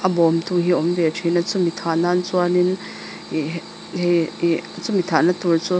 a bawmtu hi a awm ve thin a chu mi thah nan chuan in chu mi thah na tur chu.